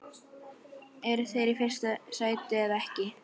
Eru þeir í fyrsta sæti eða ekki?